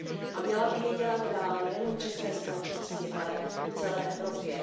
A měla by jí dělat dál nejen v české společnosti, ale v celé Evropě.